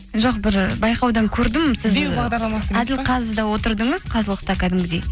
жоқ бір байқаудан көрдім сіз әділқазыда отырдыңыз қазылықта кәдімгідей